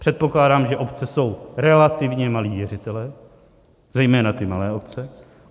Předpokládám, že obce jsou relativně malí věřitelé, zejména ty malé obce.